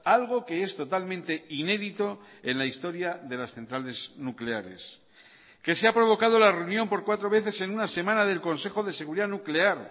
algo que es totalmente inédito en la historia de las centrales nucleares que se ha provocado la reunión por cuatro veces en una semana del consejo de seguridad nuclear